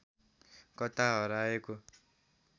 कता हराएको